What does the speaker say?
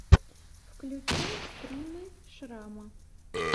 включай стримы шрама